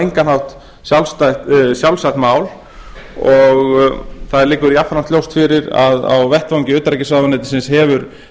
engan hátt sjálfsagt mál og það liggur jafnframt ljóst fyrir að á vettvangi utanríkisráðuneytisins hefur